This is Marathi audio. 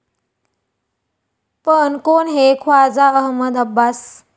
पण कोण हे ख्वाजा अहमद अब्बास?